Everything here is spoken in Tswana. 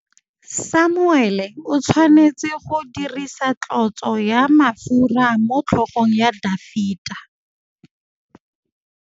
Samuele o tshwanetse go dirisa tlotsô ya mafura motlhôgong ya Dafita.